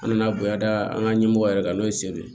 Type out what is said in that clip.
An nana bonya da an ka ɲɛmɔgɔ yɛrɛ kan n'o ye seli ye